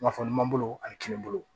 Nafolo ɲuman bolo ani kini bolo